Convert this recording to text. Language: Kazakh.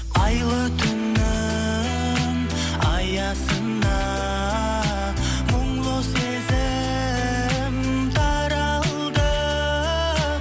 айлы түннің аясында мұңлы сезім таралды